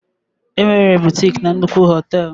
Enwere bụtịk na nnukwu họtel.